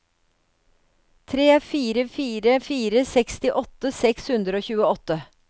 tre fire fire fire sekstiåtte seks hundre og tjueåtte